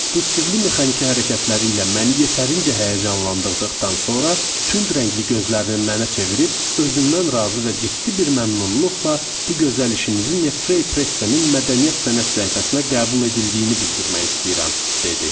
Bu sirli mexaniki hərəkətləri ilə məni yetərincə həyəcanlandırdıqdan sonra tünd rəngli gözlərini mənə çevirib özündən razı və ciddi bir məmnunluqla bu gözəl işinizi Frey Pressenin mədəniyyət sənət səhifəsinə qəbul edildiyini bildirmək istəyirəm, dedi.